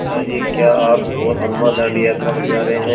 पिता जी क्या आप और अम्मा दाँडी यात्रा पर जा रहे हैं